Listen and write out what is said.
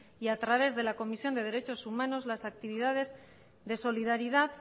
y a través de la comisión de derechos humanos las actividades de solidaridad